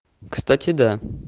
кстати да